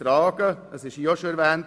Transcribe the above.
Das wurde hier auch bereits erwähnt.